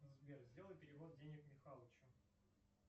сбер сделай перевод денег михалычу